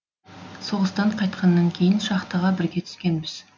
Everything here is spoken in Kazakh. соғыстан қайтқаннан кейін шахтаға бірге түскенбіз